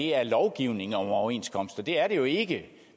er lovgivning om overenskomster det er det jo ikke